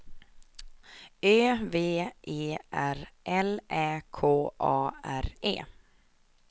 Ö V E R L Ä K A R E